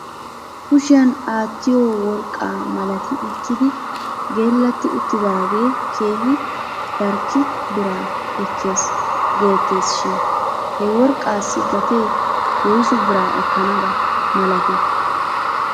Kushiyan aattiyoo worqqa malati ekkidi geellatti uttidaagee keehi dark bira ekkes geettes shin he worqaassi gatee woysu bira ekkanaba milatii?